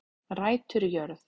Rætur í jörð